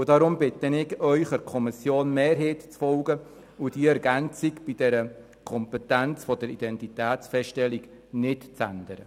Deshalb bitte ich Sie, der Kommissionsmehrheit zu folgen und die Ergänzung bei der Kompetenz der Identitätsfeststellung nicht zu ändern.